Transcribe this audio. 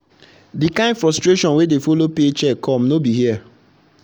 the kind frustration wey dey follow paycheck come no be for here.